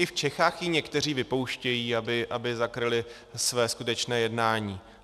I v Čechách ji někteří vypouštějí, aby zakryli své skutečné jednání.